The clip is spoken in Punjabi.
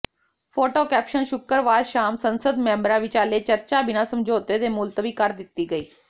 ਫੋਟੋ ਕੈਪਸ਼ਨ ਸ਼ੁੱਕਰਵਾਰ ਸ਼ਾਮ ਸੰਸਦ ਮੈਂਬਰਾ ਵਿਚਾਲੇ ਚਰਚਾ ਬਿਨਾ ਸਮਝੌਤੇ ਦੇ ਮੁਲਤਵੀ ਕਰ ਦਿੱਤੀ ਗਈ